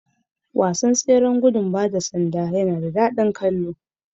Tseren gudun ba da sanda yana da daɗi don kallo